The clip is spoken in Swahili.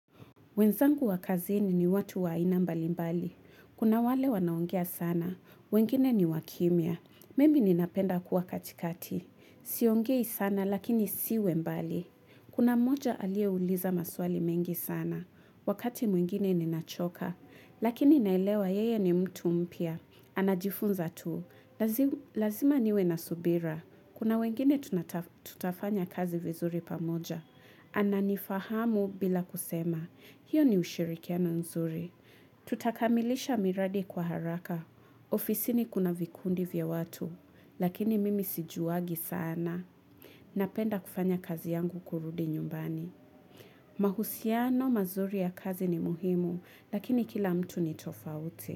Wenzangu wa kazini ni watu wa aina mbalimbali. Kuna wale wanaongea sana. Wengine ni wakimya. Mimi ninapenda kuwa katikati. Siongei sana lakini siwe mbali. Kuna mmoja aliyeuliza maswali mengi sana. Wakati mwingine ninachoka. Lakini naelewa yeye ni mtu mpya. Anajifunza tu, lazima niwe na subira. Kuna wengine tuna tutafanya kazi vizuri pamoja. Ananifahamu bila kusema. Hiyo ni ushirikiano nzuri. Tutakamilisha miradi kwa haraka. Ofisini kuna vikundi vya watu, lakini mimi sijuwangi sana. Napenda kufanya kazi yangu kurudi nyumbani. Mahusiano mazuri ya kazi ni muhimu, lakini kila mtu ni tofauti.